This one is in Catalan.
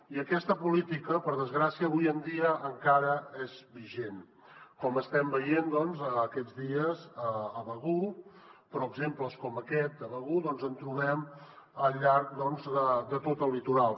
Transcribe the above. i aquesta política per desgràcia avui en dia encara és vigent com estem veient aquests dies a begur però exemples com aquest de begur doncs en trobem al llarg de tot el litoral